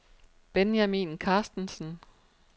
Benjamin Carstensen